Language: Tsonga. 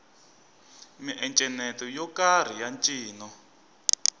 miencenyeto yo karhi ya ncino